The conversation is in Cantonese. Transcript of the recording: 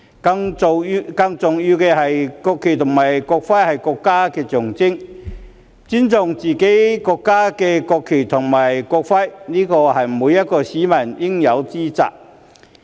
更重要的是，國旗和國徽是國家的象徵，而尊重自己國家的國旗和國徽是每一名市民應有之責。